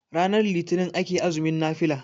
ranar litinin ake azumin nafila